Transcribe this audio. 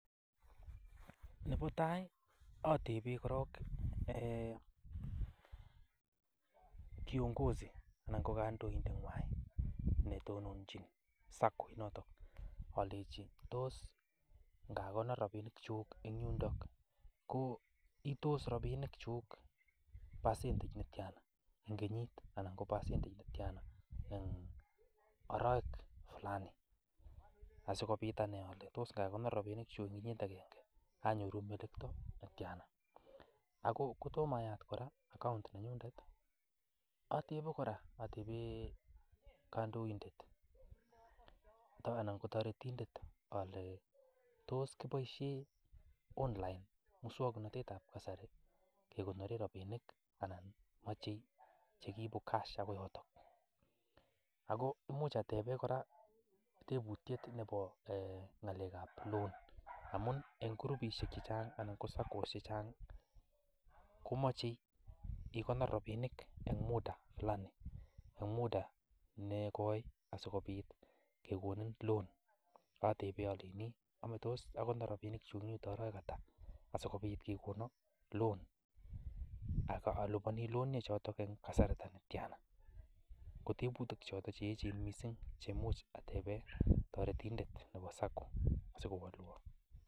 Nebo tai ateben korong kiongozi anan ko kandoindenywan ne tononchin SACCO inoto alenchi: "tos ngakonor rabinikyuk en yundo ko itos rabinikyuk percentage ne tyana en kenyit anan en oroek fulani ?" Asikobit anai anyun ale tos ingekonor rabinikyuk kenyit agenge anyoru melekto netyana? Ago kotom ayat kora account nenyun, atebe kora ateben kandoindet anan ko toretindet ale: "tos kiboishen online muswaknatetab kasari kegoori rabinik anan mache che kiibu cash agoi yoto?" ago imuch ateben kora tebutyet nebo ng'alekab loan amun en kurubishek che chang anan ko SACCOs che chang komoche igonor rabinik en muda fulani en muda negoi asikobit kegonin loan ateben alenjini "tos akonor rabinikyuk oroek ata asikobit kegonon loan? Ak aliboni loan ichoto en kasarta netyana?" Kotebutik choto che eechen mising che amuch ateben toretindet nebo SACCO asikowolwon.